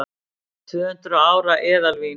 Tvöhundruð ára eðalvín